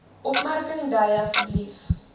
opmerking dui asb